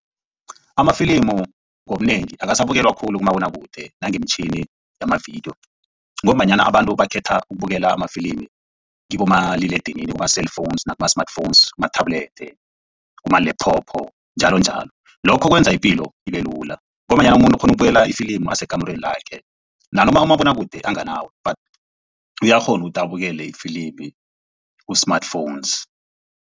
Amafilimu ngobunengi akasabukelwa khulu kumabonwakude nangemtjhini yamavidiyo ngombanyana abantu bakhetha ukubukela amafilimu kibomaliledinini, kuma-cellphones nakuma-smartphones, kuma-tablet kuma-laptop njalonjalo. Lokho kwenza ipilo ibe lula ngombanyana umuntu ukghona ukubukela ifilimu asekamurweni lakhe nanoma umabonwakude anganawo but uyakghona ukuthi abukele ifilimu ku-smartphones.